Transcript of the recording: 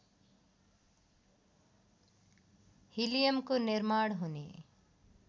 हिलियमको निर्माण हुने